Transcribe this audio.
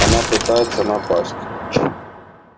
она пытается напасть